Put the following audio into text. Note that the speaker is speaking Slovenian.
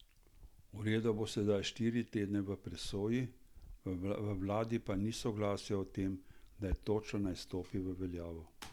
Uredba bo sedaj štiri tedne v presoji, v vladi pa ni soglasja o tem, kdaj točno naj stopi v veljavo.